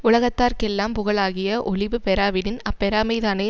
உலகத்தார்க்கெல்லாம் புகழாகிய ஒழிபு பெறாவிடின் அப்பெறாமைதானே